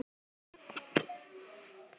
Ég sagðist gera það.